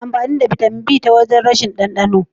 Ana amfani da Bitamin B ta wajen rashin dandano.